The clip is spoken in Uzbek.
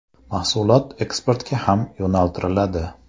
Mahsulot eksportga ham yo‘naltiriladi.